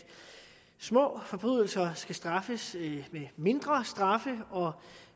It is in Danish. små forbrydelser skal straffes med mindre straffe og